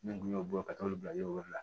N tun y'o bɔ ka taa olu bila wɛrɛ la